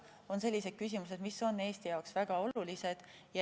Need on sellised küsimused, mis on Eesti jaoks väga olulised.